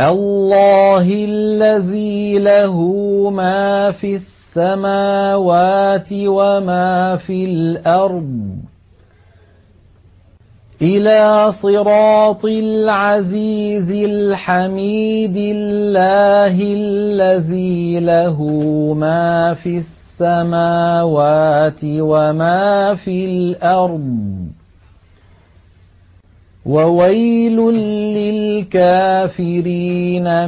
اللَّهِ الَّذِي لَهُ مَا فِي السَّمَاوَاتِ وَمَا فِي الْأَرْضِ ۗ وَوَيْلٌ لِّلْكَافِرِينَ